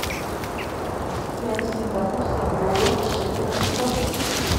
пять сингапурских долларов в шекелях сколько